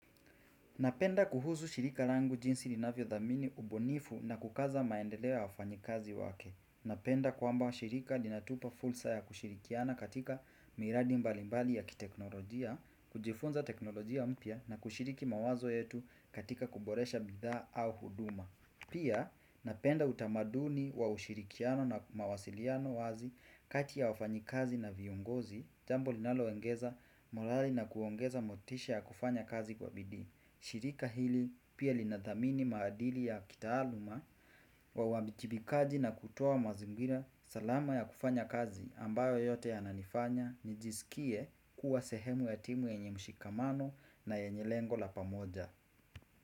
Napenda kuhuzu shirika langu jinsi linavyo dhamini ubonifu na kukaza maendeleo wafanyikazi wake. Napenda kwamba shirika linatupa fulsa ya kushirikiana katika miradi mbalimbali ya kiteknolojia, kujifunza teknolojia mpya na kushiriki mawazo yetu katika kuboresha bidha au huduma. Pia napenda utamaduni wa ushirikiano na mawasiliano wazi kati ya wafanyikazi na viungozi, jambo linalo wengeza morali na kuongeza motisha ya kufanya kazi kwa bidii. Shirika hili pia linathamini maadili ya kitaaluma wa wabitibikaji na kutowa mazingira salama ya kufanya kazi ambayo yote ya nanifanya nijisikie kuwa sehemu ya timu ya nye mshikamano na ya nye lengo la pamoja.